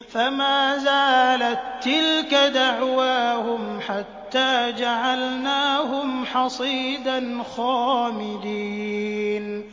فَمَا زَالَت تِّلْكَ دَعْوَاهُمْ حَتَّىٰ جَعَلْنَاهُمْ حَصِيدًا خَامِدِينَ